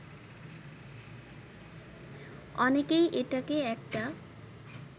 অনেকেই এটাকে একটা